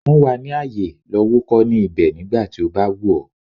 Fún wa ní àyè, lọ wúkọ́ ní ibẹ̀ nígbà tí ó bá wù ọ̀.